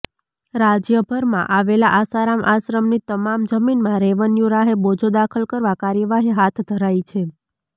રાજ્યભરમાં આવેલા આસારામ આશ્રમની તમામ જમીનમાં રેવન્યુ રાહે બોજો દાખલ કરવા કાર્યવાહી હાથ ધરાઇ છે